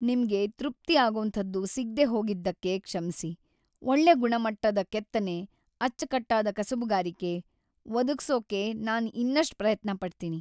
ನಿಮ್ಗೆ ತೃಪ್ತಿ ಆಗೋಂಥದ್ದು ಸಿಗ್ದೇ ಹೋಗಿದ್ದಕ್ಕೆ ಕ್ಷಮ್ಸಿ, ಒಳ್ಳೆ ಗುಣಮಟ್ಟದ ಕೆತ್ತನೆ, ಅಚ್ಕಟ್ಟಾದ ಕಸುಬುಗಾರಿಕೆ ಒದಗ್ಸೋಕೆ ನಾನ್‌ ಇನ್ನಷ್ಟ್‌ ಪ್ರಯತ್ನ ಪಡ್ತೀನಿ.